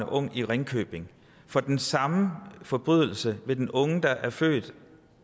ung i ringkøbing for den samme forbrydelse vil den unge der er født i